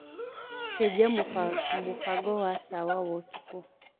cenjĩa mubango wa tawa wa utuku